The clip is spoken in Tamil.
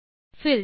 பில்ட்டர்